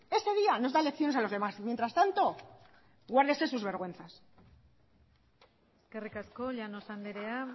ese día nos da lecciones a los demás mientras tanto guárdese sus vergüenzas eskerrik asko llanos andrea